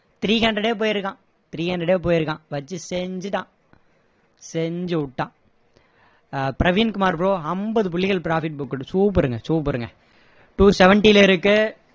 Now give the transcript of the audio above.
three hundred ஏ போயிருக்கான் three hundred போயிருக்கான் வச்சி செஞ்சுட்டான் செஞ்சு விட்டான அஹ் பிரவின் குமார் bro ஐம்பது புள்ளிகள் profit booked super ங்க super ங்க two seventy ல இருக்கு